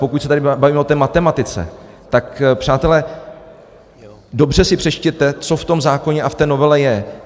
Pokud se tady bavíme o té matematice, tak přátelé, dobře si přečtěte, co v tom zákoně a v té novele je.